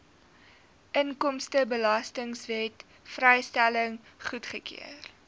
inkomstebelastingwet vrystelling goedgekeur